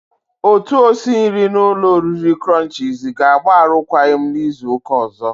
Otu osi nri na ụlọ oriri krọnchiz ga-agba arụkwagi m n'izu uka ozo.